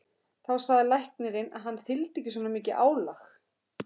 Þá sagði læknirinn að hann þyldi ekki svona mikið álag.